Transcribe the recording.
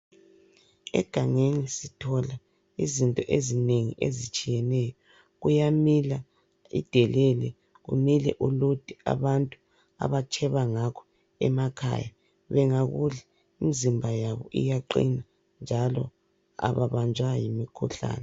Egangeni sithola izinto ezinengi ezitshiyeneyo. Kuyamila idelele, kumile ulude abantu abatsheba ngakho emakhaya .Bengakudla imizimba yabo iyaqina njalo ababanjwa yimikhuhlane.